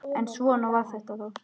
En svona var þetta þá.